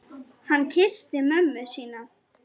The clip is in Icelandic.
Hann kyssti mömmu sína.